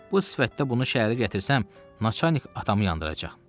Bu sifətdə bunu şəhərə gətirsəm, Naçanik atamı yandıracaq.